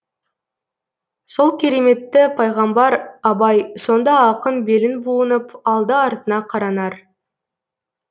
сол кереметті пайғамбар абай сонда ақын белін буынып алды артына қаранар